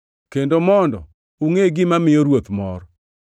kendo mondo ungʼe gima miyo Ruoth mor.